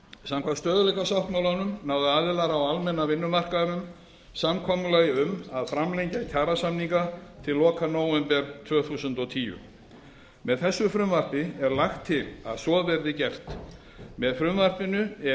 samkvæmt stöðugleikasáttmálanum náðu aðilar á almenna vinnumarkaðnum samkomulagi um að framlengja kjarasamninga til loka nóvember tvö þúsund og tíu með þessu frumvarpi er lagt til að svo verði gert með frumvarpinu er